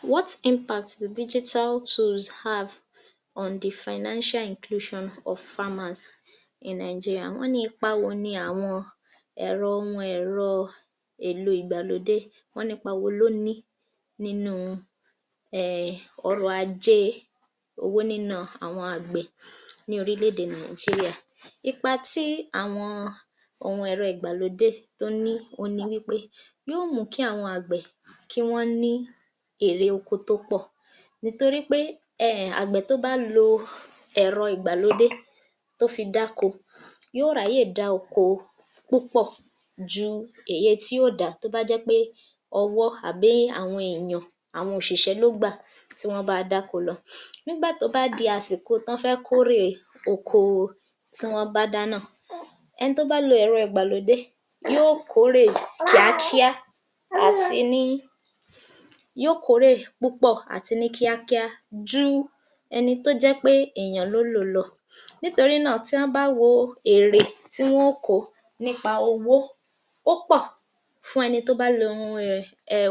47. What impact did digital tools have on the financial inclusion of farmers in Nigeria. Wọ́n ní ipa wo ni àwọn ẹ̀rọ ohun ẹ̀rọ èèlo ìgbàlódé wọ́n nípa wo ló ní nínu um ọrọ̀ ajé owó níná àwọn àgbẹ̀ ní orílẹ̀-èdè Nigeria. Ipa tí àwọn ohun ìgbàlódé tó ní ohun ni wí pé yó mùú kí àwọn àgbẹ̀ kí wọ́n ní èrè oko tó pọ̀ nìtori pé um àgbẹ̀ tó bá lo ẹ̀rọ ìgbàlódé tó fi dáko yó ràáyè láti dá oko púpọ̀ ju eye tí ó dàá tó bá jẹ́ pé ọwọ́ àbí àwọn èèyàn àwọn òṣìṣẹ́ ló gbà tí wọ́n bá a dáko lọ nígbà tó bá di àsìkò tán fẹ́ kórèe oko tí wọ́n bá dá náà. Ẹni tó bá lo ẹ̀rọ ìgbàlódé yó kòórè kíákíá àti ní yó kòórè púpọ̀ àti ní kíákíá ju ẹni tó jẹ́ pé èèyàn lólò lọ nítorí náà tí hán bá wo èrè tí wọ́n ó kòó nípa owó ó pọ̀ fún ẹni tó bá lo ohun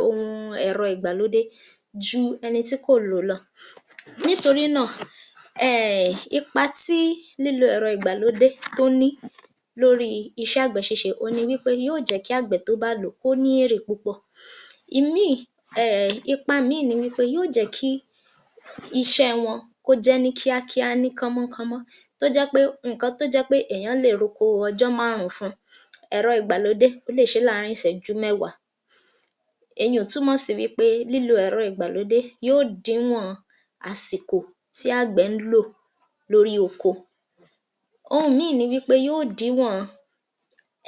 um ẹ̀rọ ìgbàlódé ju ẹni tí kò lò lọ nítorí náà um ipa tí lílo ẹ̀rọ ìgbàlódé tó ní lóríi iṣẹ́ àgbẹ̀ ṣíṣe òhun ni wí pé yóò jẹ́ kí àgbẹ̀ tó bá lò ó kó ní èrè púpọ̀. Ìmíì um ipa míì ni wí pé yó jẹ̀ẹ́ kí iṣẹ́ ẹ wọn kó jẹ́ ní kíákíá ní kánmọ́ńkánmọ́ tó jẹ́ pé nǹkan tó jẹ́ pé èèyàn lè roko ọjọ́ márùn-ún fún, ẹ̀rọ ìgbàlódé ó lè ṣe é láàárín Ìṣẹ́jú mẹ́wàá èye ò túmọ̀ sí wí pé lílo ẹ̀rọ ìgbàlódé yó dìíwọn àsìkò tí àgbẹ̀ ń lò lórí oko. Ohun míì ni wí pé yó dìíwọn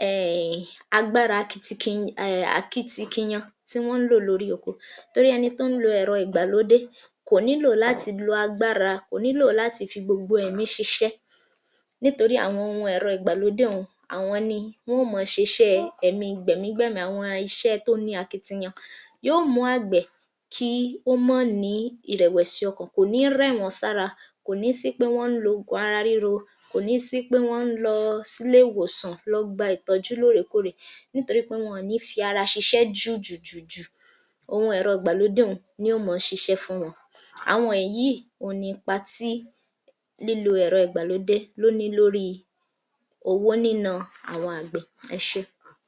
um agbára [umum ] akitikiyan tí wọ́n ń lò lórí oko torí ẹni tó ń lo ẹ̀rọ ìgbàlódé kò nílò láti lo agbára kò nílò láti fi gbogbo ẹ̀mí ṣiṣẹ́ nítorí àwọn ohun ẹ̀rọ ìgbàlódé un àwọn ni wón ma ṣeṣẹ́ẹ ẹ̀mi gbẹ̀mígbẹ̀mí àwọn iṣẹ́ tó ní akitiyan. Yó mùú àgbẹ̀ kí ó mọ́ nìí ìrẹ̀wẹ̀sí ọkàn kò ní rẹ̀ wọ́n sára kò ní sí pé wọ́n ń lo òògùn ara ríro kò ní sí pé wọ́n ń lọ sílé ìwòsàn lọ gba ìtọ́jú lóòrèkóòrè nítorí pé wọn ní fi ara ṣiṣẹ́ jùùjùjù ohun ẹ̀rọ ìgbàlódé un ni ó mọ ṣiṣẹ́ fún wọn. Àwọn èyí yìí ni ipa tí lílo ẹ̀rọ ìgbàlódé lóní lóríi owó níná àwọn àgbẹ̀. Ẹ ṣé.